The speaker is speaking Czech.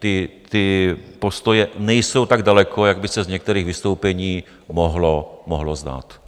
Ty postoje nejsou tak daleko, jak by se z některých vystoupení mohlo zdát.